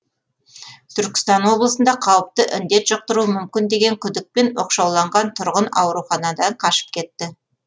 түркістан облысында қауіпті індет жұқтыруы мүмкін деген күдікпен оқшауланған тұрғын ауруханадан қашып кетті